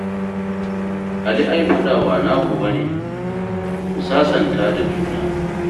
Ali ai faɗa ba naku ba ne. Ku sasanta da juna